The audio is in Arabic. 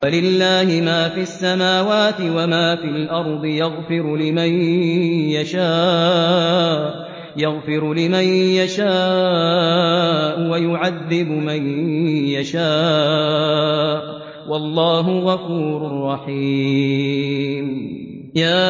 وَلِلَّهِ مَا فِي السَّمَاوَاتِ وَمَا فِي الْأَرْضِ ۚ يَغْفِرُ لِمَن يَشَاءُ وَيُعَذِّبُ مَن يَشَاءُ ۚ وَاللَّهُ غَفُورٌ رَّحِيمٌ